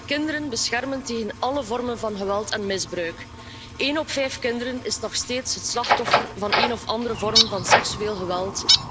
Wij moeten onze kinderen beschermen tegen alle vormen van geweld en misbruik. Een op de vijf kinderen is nog steeds het slachtoffer van een of andere vorm van seksueel geweld.